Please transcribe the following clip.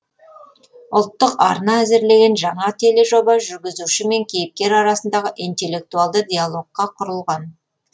ұлттық арна әзірлеген жаңа тележоба жүргізуші мен кейіпкер арасындағы интеллектуалды диалогқа құрылған